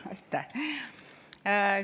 Aitäh!